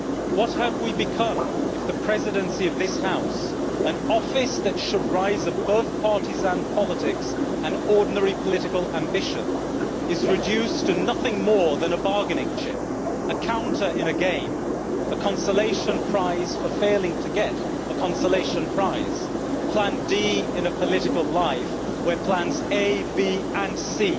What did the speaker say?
What have we become if the Presidency of this House an office that should rise above partisan politics and ordinary political ambition is reduced to nothing more than a bargaining chip, a counter in a game, a consolation prize for failing to get a consolation prize, Plan D in a political life where Plans A, B, and C